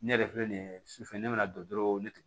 Ne yɛrɛ filɛ nin ye sufɛ ne bɛna don ne